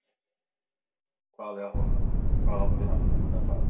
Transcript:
Hvað átti hann með það?